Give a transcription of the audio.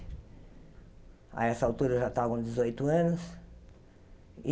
A essa altura, eu já estava com dezoito anos.